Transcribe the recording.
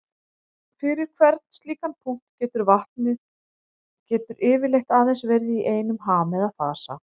Fyrir hvern slíkan punkt getur vatnið getur yfirleitt aðeins verið í einum ham eða fasa.